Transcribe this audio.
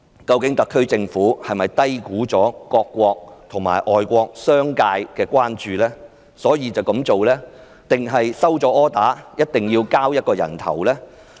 究竟特區政府是低估了各國政府及外國商界的關注才這樣做，還是收到命令，非要"人頭落地"不可？